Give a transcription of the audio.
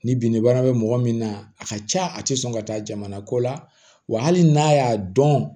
Ni bin bana bɛ mɔgɔ min na a ka ca a tɛ sɔn ka taa jamana ko la wa hali n'a y'a dɔn